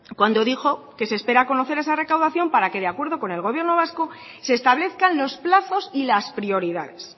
cuando dijo que se espera conocer esa recaudación para que de acuerdo con el gobierno vasco se establezcan los plazos y las prioridades